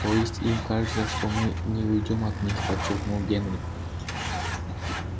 то есть им кажется что мы не уйдём от них подчеркнул генри